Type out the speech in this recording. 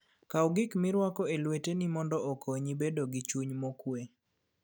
Kaw gik milwako e lweteni mondo okonyi bedo gi chuny mokuwe.